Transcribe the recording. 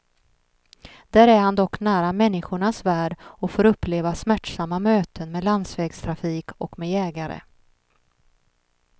Där är han dock nära människornas värld och får uppleva smärtsamma möten med landsvägstrafik och med jägare.